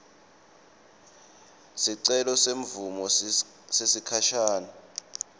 sicelo semvumo yesikhashane